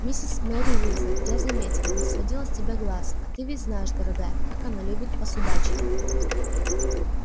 миссис мерриуэзер я заметила не сводила с тебя глаз а ты ведь знаешь дорогая как она любит посудачить